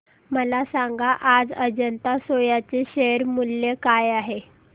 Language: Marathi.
मला सांगा आज अजंता सोया चे शेअर मूल्य काय आहे